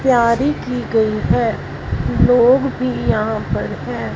तैयारी की गई हैं लोग भी यहां पर हैं।